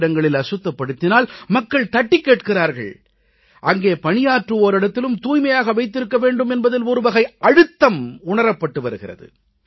பொதுவிடங்களில் அசுத்தப்படுத்தினால் மக்கள் தட்டிக் கேட்கிறார்கள் அங்கே பணியாற்றுவோரிடத்திலும் தூய்மையாக வைத்திருக்க வேண்டும் என்பதில் ஒரு வகை அழுத்தம் உணரப்பட்டு வருகிறது